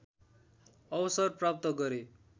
अवसर प्राप्त गरे